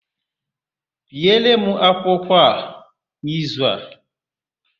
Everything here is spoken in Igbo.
Biere m akwụkwọ a n'izu a!